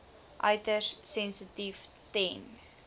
uiters sensitief ten